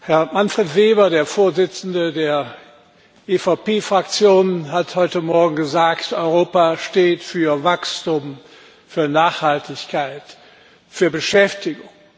Herr Manfred Weber, der Vorsitzende der EVP Fraktion, hat heute Morgen gesagt Europa steht für Wachstum, für Nachhaltigkeit, für Beschäftigung.